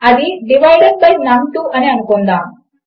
అది divided by నమ్2 అని అనుకుందాము